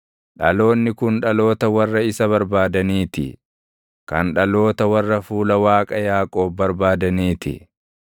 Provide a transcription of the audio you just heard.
Dhaloonni kun dhaloota warra isa barbaadanii ti; kan dhaloota warra fuula Waaqa Yaaqoob barbaadanii ti.